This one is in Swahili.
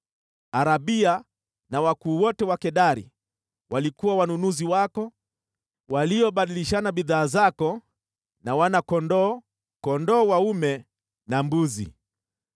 “ ‘Arabuni na wakuu wote wa Kedari walikuwa wanunuzi wako waliobadilishana bidhaa zako na wana-kondoo, kondoo dume na mbuzi.